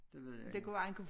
Det ved jeg ikke